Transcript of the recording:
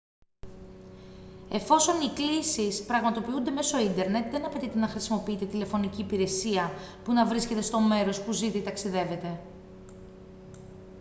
εφόσον οι κλήσεις πραγματοποιούνται μέσω ίντερνετ δεν απαιτείται να χρησιμοποιείτε τηλεφωνική υπηρεσία που να βρίσκετε στο μέρος που ζείτε ή ταξιδεύετε